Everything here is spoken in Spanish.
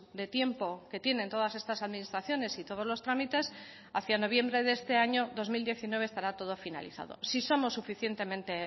de tiempo que tienen todas estas administraciones y todos los trámites hacia noviembre de este año dos mil diecinueve estará todo finalizado si somos suficientemente